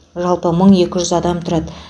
жалпы мың екі жүз адам тұрады